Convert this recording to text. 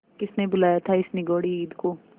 किसने बुलाया था इस निगौड़ी ईद को